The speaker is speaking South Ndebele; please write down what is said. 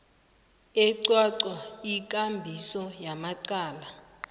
eqwaqwa ikambiso yamacala